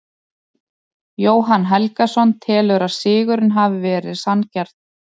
Jóhann Helgason telur að sigurinn hafi verið sanngjarn.